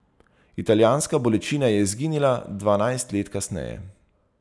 Italijanska bolečina je izginila dvanajst let kasneje.